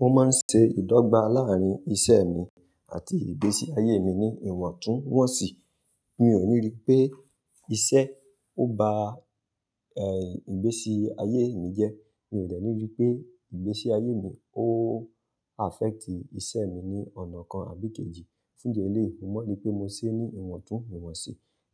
Mo máa ń ṣe ìdọ́gba láàárín iṣẹ́ mi àti ìgbésí ayé mi ní ìwọ̀ntúnwọ̀nsì. Mi ò ní rí pé iṣẹ́ ọ ba, ẹ́, ìgbésí ayé mi jẹ́. Mi ò dẹ́ ni rí pé ìgbésí ayé mi ó affect iṣẹ́ mi ní ọ̀nà kan àbí kejì. Fún di eléyìí, mo mọ̀ n ri pé mo ṣe ní ìwọ̀ntún iwọ̀nsì.